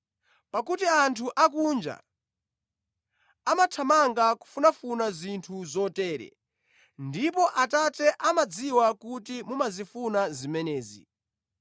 Pakuti anthu akunja amathamanga kufunafuna zinthu zotere, ndipo Atate amadziwa kuti mumazifuna zimenezi.